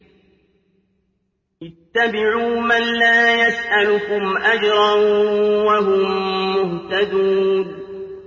اتَّبِعُوا مَن لَّا يَسْأَلُكُمْ أَجْرًا وَهُم مُّهْتَدُونَ